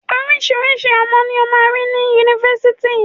Oríṣiriṣí ọmọ ni o máa rí ni Yunifásitì.